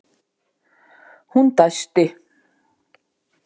Hún dæsti.